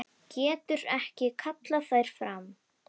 Getur ekki kallað þær fram.